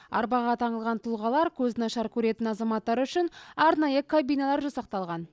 арбаға таңылған тұлғалар көзі нашар көретін азаматтар үшін аранайы кабиналар жасақталған